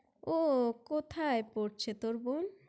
উহ কোথায় পড়ছে তোর বোন?